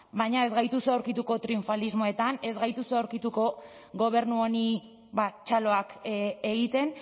baina ez gaituzue aurkituko triunfalismoetan ez gaituzue aurkituko gobernu honi txaloak egiten